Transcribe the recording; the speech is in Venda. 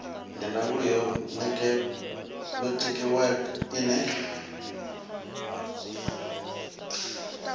ndi ndangulo ya netiweke ine